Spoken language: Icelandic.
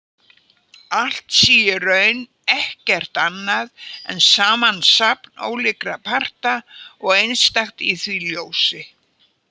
Allt sé í raun ekkert annað en samansafn ólíkra parta og einstakt í því ljósi.